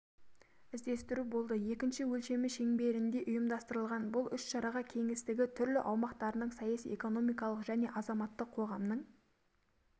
іздестіру болды екінші өлшемі шеңберінде ұйымдастырылған бұл іс-шараға кеңістігі түрлі аумақтарының саяси-экономикалық және азаматтық қоғамның